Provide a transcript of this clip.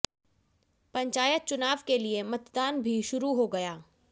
पंचायत चुनाव के लिए मतदान बी शुरु हो गया